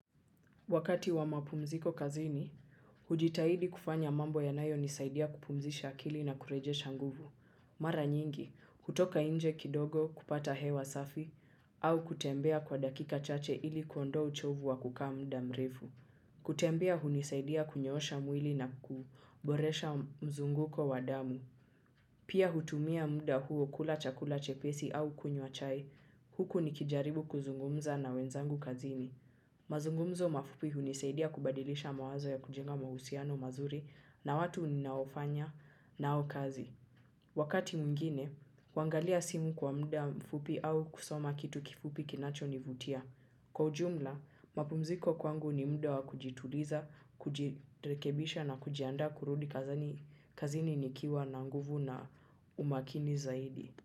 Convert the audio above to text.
Wakati wa mapumziko kazini, hujitahidi kufanya mambo yanayo nisaidia kupumzisha akili na kurejesha nguvu. Mara nyingi, kutoka nje kidogo kupata hewa safi, au kutembea kwa dakika chache ili kuondoa uchovu wa kukaa muda mrefu. Kutembea hunisaidia kunyoosha mwili na ku, boresha mzunguko wa damu. Pia hutumia muda huo kula chakula chepesi au kunywa chai, huku nikijaribu kuzungumza na wenzangu kazini. Muzungumzo mafupi hunisaidia kubadilisha mawazo ya kujenga mahusiano mazurinna watu ninaofanya nao kazi wakati mwingine kuangalia simu kwa muda mfupi au kusoma kitu kifupi kinachonivutia kwa ujumla, mapumziko kwangu ni muda wa kujituliza, kujirekebisha na kujiandaa kurudi kazini nikiwa na nguvu na umakini zaidi.